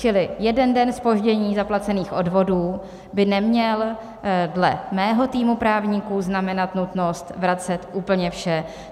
Čili jeden den zpoždění zaplacených odvodů by neměl dle mého týmu právníků znamenat nutnost vracet úplně vše.